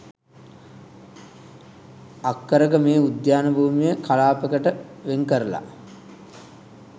අක්කර ක මේ උද්‍යාන භූමිය කලාප කට වෙන් කරලා